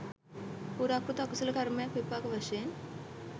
පුරාකෘත අකුසල කර්මයක් විපාක වශයෙන්